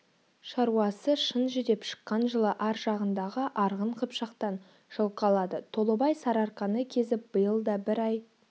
шаруасы шын жүдеп шыққан жылы аржағындағы арғын-қыпшақтан жылқы алады толыбай сарыарқаны кезіп биыл да бір ай